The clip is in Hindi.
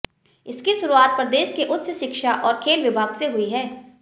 इसकी शुरुआत प्रदेश के उच्च शिक्षा और खेल विभाग से हुई है